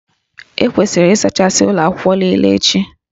E kwesịrị ịsachasị ụlọ akwụkwọ niile echi